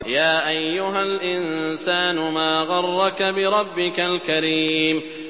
يَا أَيُّهَا الْإِنسَانُ مَا غَرَّكَ بِرَبِّكَ الْكَرِيمِ